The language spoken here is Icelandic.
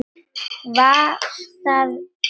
Var það vel.